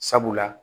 Sabula